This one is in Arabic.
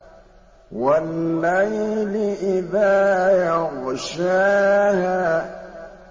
وَاللَّيْلِ إِذَا يَغْشَاهَا